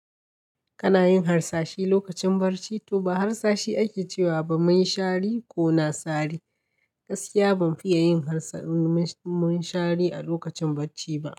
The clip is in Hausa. Kana yin harsashi lokacin bacci? To ba harsashi ake cewa ba, min shari ko na sari. Gaskiya ban fiya yin harsa- min shari a lokacin bacci ba.